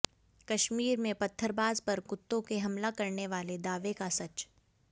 कश्मीर में पत्थरबाज़ पर कुत्तों के हमला करने वाले दावे का सच